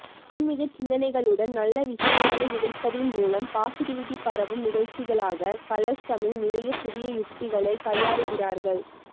ஆன்மிக சிந்தனைகளுடன் நல்ல விஷயங்களை விதைப்பதின் மூலம் பாசிடிவிட்டி பரவும் நிகழ்ச்சிகளாக கலர்ஸ் தமிழ் நிறைய புதிய யுக்திகளை கையாளுகிறார்கள்